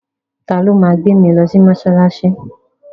Ta ló ma gbé mi lọ mọ́ṣáláṣí?